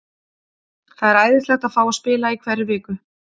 Það er æðislegt að fá að spila í hverri viku.